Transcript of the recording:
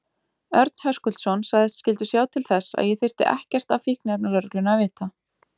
Örn Höskuldsson sagðist skyldu sjá til þess að ég þyrfti ekkert af fíkniefnalögreglunni að vita.